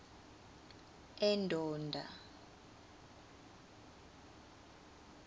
endonda